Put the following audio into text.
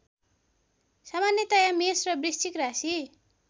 सामान्यतया मेष र वृश्चिक राशि